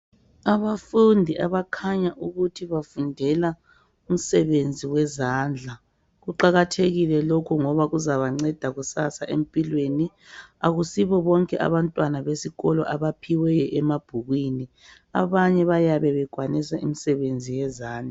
Abafundi abakhanya ukuthi bafundela umsebenzi wezandla, kuqakathekile lokhu ngoba kuzabanceda kusasa empilweni. Akusibo bonke abantwana besikolo abaphiwe emabhukwini, abanye bayabe bekwanisa imisebenzi yezandla.